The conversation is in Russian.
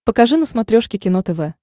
покажи на смотрешке кино тв